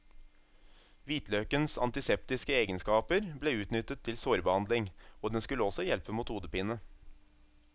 Hvitløkens antiseptiske egenskaper ble utnyttet til sårbehandling, og den skulle også hjelpe mot hodepine.